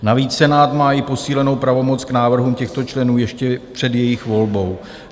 Navíc Senát má i posílenou pravomoc k návrhu těchto členů ještě před jejich volbou.